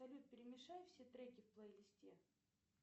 салют перемешай все треки в плейлисте